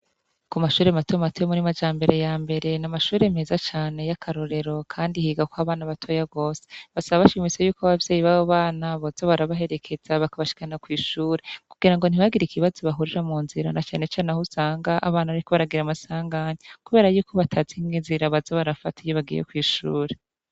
Kumashure mato mato yo muri majambere yambere namashure meza cane yakarorero kandi yigako abana batoya gose basaba bashimitse yuko abavyeyi babobana boza barabaherekeza bakabashikana kwishure kugira ngo ntihagire ikibazo bahurira munzira na cane cane ahusanga abana bariko baragira amasanganya kubera yuko batazi nkinzira bazabarafata iyo bagiye kwishure